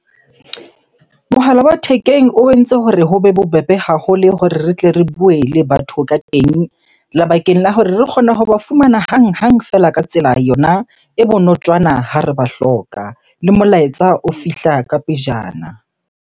Mohala wa thekeng o entse hore ho be bobebe haholo hore re tle re bue le batho ka teng. Lebakeng la hore re kgone hoba fumana hanghang feela ka tsela yona e bonotjwana ha re ba hloka. Le molaetsa o fihla ka pejana.